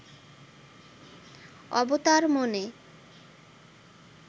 অবতার মনে